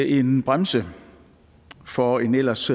en bremse for en ellers